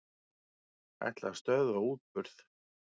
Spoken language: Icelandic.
Ætla að stöðva útburð